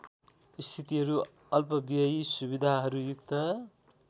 स्थितिहरू अल्पव्ययी सुविधाहरूयुक्त